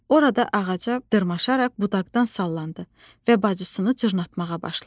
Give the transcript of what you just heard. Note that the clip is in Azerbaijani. Orada ağaca dırmaşaraq budaqdan sallandı və bacısını cırnatmağa başladı.